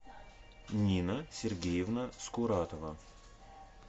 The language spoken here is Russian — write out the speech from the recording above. нина сергеевна скуратова